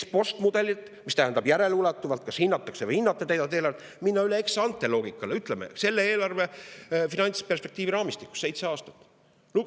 Ex-post-mudelilt, mis tähendab järeleulatuvat hindamist, kas täidetakse eelarvet, minna üle ex-ante-loogikale selle eelarve finantsperspektiivi raamistikus seitsme aasta jooksul.